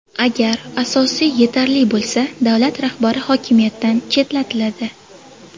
Agar asos yetarli bo‘lsa, davlat rahbari hokimiyatdan chetlatiladi.